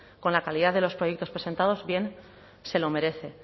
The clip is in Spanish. con la calidad de los proyectos presentados bien se lo merece